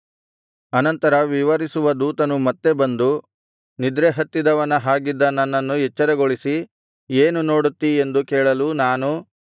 ಅನಂತರ ವಿವರಿಸುವ ದೇವದೂತನು ಮತ್ತೆ ಬಂದು ನಿದ್ರೆಹತ್ತಿದವನ ಹಾಗಿದ್ದ ನನ್ನನ್ನು ಎಚ್ಚರಗೊಳಿಸಿ ಏನು ನೋಡುತ್ತೀ ಎಂದು ಕೇಳಲು ನಾನು